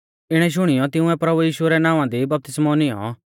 इणौ शुणियौ तिंउऐ प्रभु यीशु रै नावां दी बपतिस्मौ नियौं